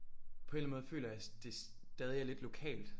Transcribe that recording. På en eller anden måde føler jeg det stadig er lidt lokalt